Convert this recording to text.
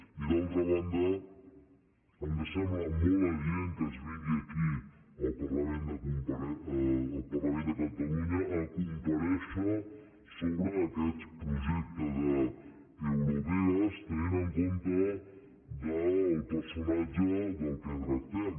i d’altra banda ens sembla molt adient que es vingui aquí al parlament de catalunya a comparèixer sobre aquest projecte d’eurovegas tenint en compte el per·sonatge de què tractem